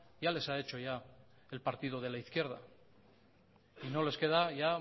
ya les ha hecho ya el partido de la izquierda y no les queda ya